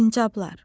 Sincablar.